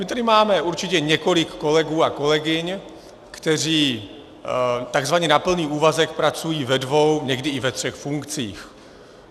My tady máme určitě několik kolegů a kolegyň, kteří takzvaně na plný úvazek pracují ve dvou, někdy i ve třech funkcích.